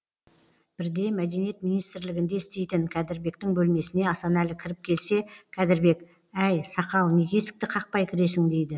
бірде мәдениет министрлігінде істейтін кәдірбектің бөлмесіне асанәлі кіріп келсе кәдірбек әй сақал неге есікті қақпай кіресің дейді